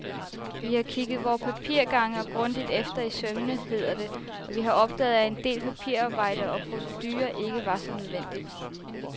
Vi har kigget vore papirgange grundigt efter i sømmene, hedder det, og vi har opdaget, at en del papirarbejde og procedurer, ikke var så nødvendigt.